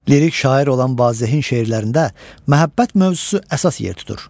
Lirik şair olan Vazehin şeirlərində məhəbbət mövzusu əsas yer tutur.